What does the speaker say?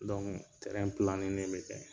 be kɛ.